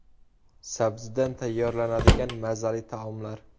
Sabzidan tayyorlanadigan mazali taomlar.